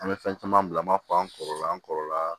An bɛ fɛn caman bila an b'a fɔ an kɔrɔla an kɔrɔla